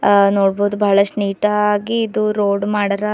ನೋಡ್ಬೋದ್ ಬಹಳಷ್ಟು ನೀಟಾಗಿ ಇದು ರೋಡ್ ಮಾಡದ.